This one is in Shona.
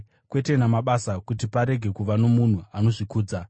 kwete namabasa, kuti parege kuva nomunhu anozvikudza.